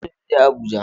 Ee, ina son in je Abuja